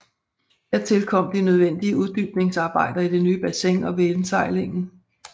Hertil kom de nødvendige uddybningsarbejder i det nye bassin og ved indsejlingen